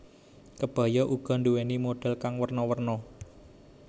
Kebaya uga nduwéni modhel kang werna werna